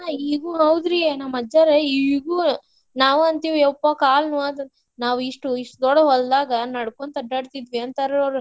ಈಗೂ ಹೌದ್ರಿ ನಮ್ಮ ಅಜ್ಜಾರ ಈಗೂ ನಾವ್ ಅಂತಿವಿ ಯಪ್ಪಾ ಕಾಲ್ ನೋವತ್ ಅಂತ ನಾವ್ ಇಷ್ಟು ಇಷ್ಟ್ ದೊಡ್ಡ್ ಹೊಲ್ದಾಗ ನಡಕೊಂತ ಅಡ್ಯಾಡ್ತಿದ್ವಿ ಅಂತಾರ ಅವ್ರು.